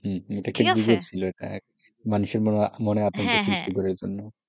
হম হম মানুষের মনে আছে,